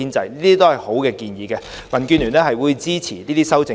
這些都是好建議，民建聯會支持這些修正案。